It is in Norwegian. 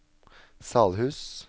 Salhus